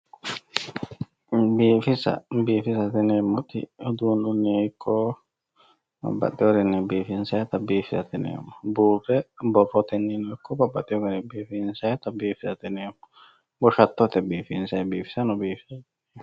Biifisa, biifisate yineemmoti uduununiha ikko babbaxeyorinni biifisannitta biifisate yineemmo, buure borroteninno ikko babbaxino garinni biifinsayitta biifisate yineemmo, goshattote basera biifisannittano biifisate yineemmo.